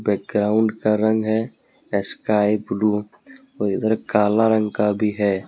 Background का रंग है स्काई ब्लू और इधर काला रंग का भी है।